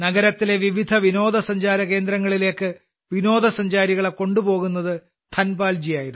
നഗരത്തിലെ വിവിധ വിനോദസഞ്ചാരകേന്ദ്രങ്ങളിലേക്ക് വിനോദസഞ്ചാരികളെ കൊണ്ടുപോകുന്നത് ധനപാൽജിയായിരുന്നു